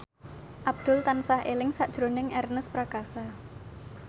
Abdul tansah eling sakjroning Ernest Prakasa